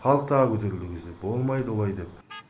халық тағы көтерілді ол кезде де болмайды олай деп